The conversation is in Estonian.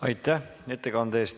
Aitäh ettekande eest!